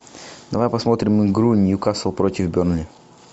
давай посмотрим игру ньюкасл против бернли